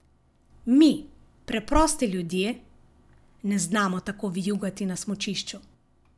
Mi, preprosti ljudje, ne znamo tako vijugati na smučišču.